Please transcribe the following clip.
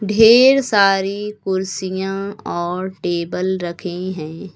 ढेर सारी कुर्सियां और टेबल रखे हैं।